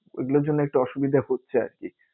ওই গুলোর জন্য একটু অসুবিধা হচ্ছে আরকি।